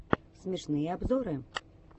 смешные обзоры